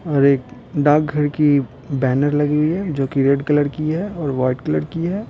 और एक डाक घर की बैनर लगी हुई है जो कि रेड कलर की है और वाइट कलर की है।